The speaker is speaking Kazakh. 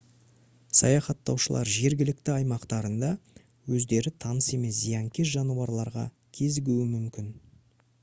саяхаттаушылар жергілікті аймақтарында өздері таныс емес зиянкес жануарларға кезігуі мүмкін